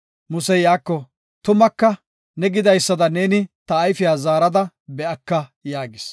Musey iyako, “Tumaka ne gidaysada neeni ta ayfiya zaarada be7aka” yaagis.